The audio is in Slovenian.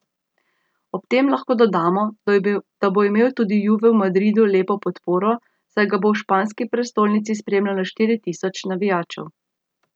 Ob tem lahko dodamo, da bo imel tudi Juve v Madridu lepo podporo, saj ga bo v španski prestolnici spremljalo štiri tisoč navijačev.